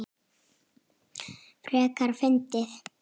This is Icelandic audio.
Frekar fyndið!